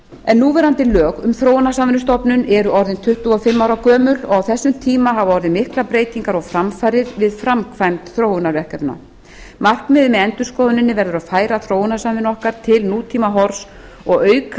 en núverandi lög um þróunarsamvinnustofnun eru orðin tuttugu og fimm ára gömul og á þessum tíma hafa orðið miklar breytingar og framfarir við framkvæmd þróunarverkefna markmiðið með endurskoðuninni verður að færa þróunarsamvinnu okkar til nútímahorfs og auka